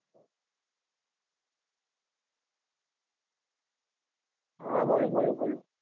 હા બોલો બોલો બોલો.